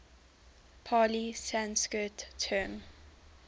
pali sanskrit term